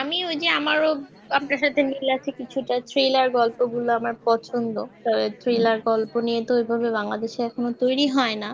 আমি ওই যে আমার ও তো আপনার সাথে মিল আছে কিছুটা থ thriller গল্প গুলো আমার পছন্দ thriller গল্প নিয়ে তো ওই ভাবে বাংলাদেশে এখনো তৈরি হয় না